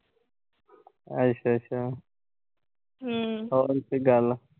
ਅੱਛਾ-ਅੱਛਾ। ਹੋਰ ਕੋਈ ਗੱਲ